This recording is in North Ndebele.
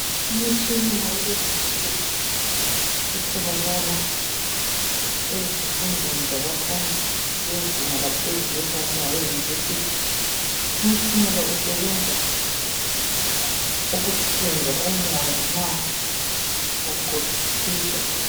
Umtshina wakulezinsuku otholakala ezifundweni zabafundi bezinga laphezulu esingathi ngabe University. Umtshina lo usebenza ukuyenza umoya nxa kutshisa